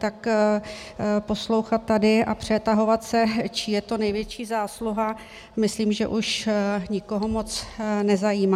Tak poslouchat tady a přetahovat se, čí je to největší zásluha, myslím, že už nikoho moc nezajímá.